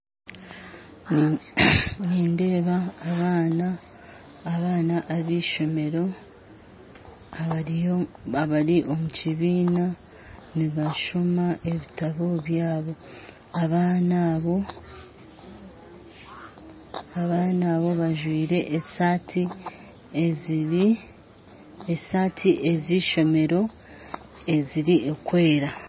Nindeeba abaana b'eishomeero bari omu kibiina nibashooma ebitabo byabo abaana abo bajwire esaati z'ishomeero ezirikwera